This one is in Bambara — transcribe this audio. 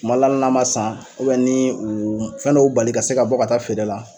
Kumal n'a ma san u bɛ nii uu m fɛn dɔ u bali ka se ka bɔ ka taa feere la